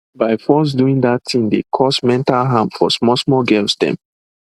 by force doing that thing dey cause mental harm for small small girls them